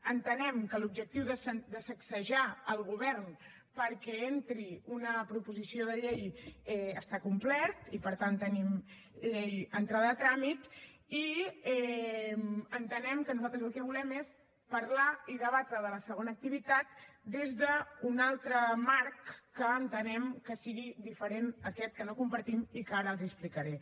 entenem que l’objectiu de sacsejar el govern perquè entri una proposició de llei està complert i per tant tenim llei entrada a tràmit i entenem que nosaltres el que volem és parlar i debatre de la segona activitat des d’un altre marc que entenem que sigui diferent a aquest que no compartim i que ara els explicaré